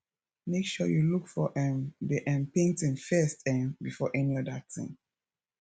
make sure you look for um the um painting first um before any other thing